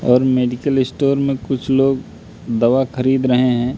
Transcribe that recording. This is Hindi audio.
और मेडिकल स्टोर मे कुछ लोग दवा खरीद रहे हैं।